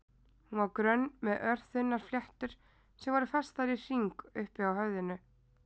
Hún var grönn með örþunnar fléttur sem voru festar í hring uppi á höfðinu.